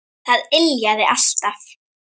Það yljaði alltaf.